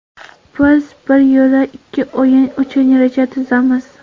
Biz bir yo‘la ikki o‘yin uchun reja tuzamiz.